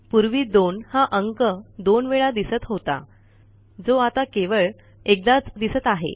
पूर्वी 2 हा अंक 2वेळा दिसत होता जो आता केवळ एकदाच दिसत आहे